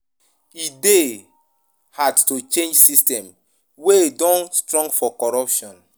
E dey hard to change system wey don strong for corruption.